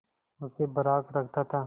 उसे बर्राक रखता था